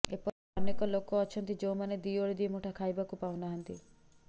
ଏପରି ଅନେକ ଲୋକ ଅଛନ୍ତି ଯେଉଁମାନେ ଦିଓଳି ଦିମୁଠା ଖାଇବାକୁ ପାଉନାହାନ୍ତି